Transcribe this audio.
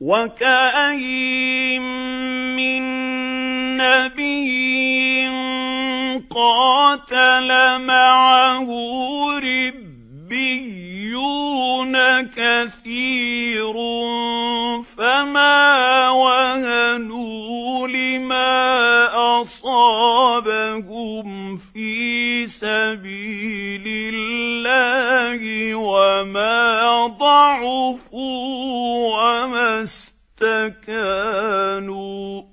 وَكَأَيِّن مِّن نَّبِيٍّ قَاتَلَ مَعَهُ رِبِّيُّونَ كَثِيرٌ فَمَا وَهَنُوا لِمَا أَصَابَهُمْ فِي سَبِيلِ اللَّهِ وَمَا ضَعُفُوا وَمَا اسْتَكَانُوا ۗ